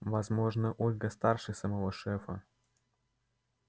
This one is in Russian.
возможно ольга старше самого шефа